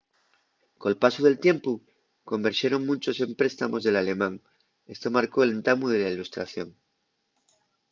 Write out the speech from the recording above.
col pasu del tiempu converxeron munchos empréstamos del alemán esto marcó l'entamu de la illustración